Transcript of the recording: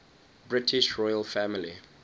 british royal family